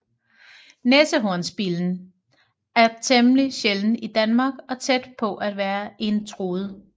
Næsehornsbillen er temmelig sjælden i Danmark og tæt på at være en truet